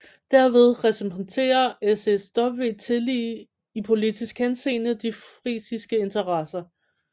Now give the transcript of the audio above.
Derved repræsenterer SSW tillige i politisk henseende de frisiske interesser